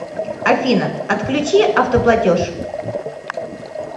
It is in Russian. афина отключи автоплатеж